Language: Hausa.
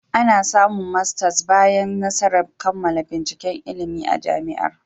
Ana samun masters bayan nasarar kammala binciken ilimi a Jami'ar